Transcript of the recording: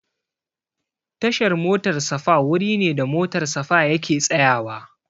Tashar motar safa wuri ne da motar safa yake tsayawa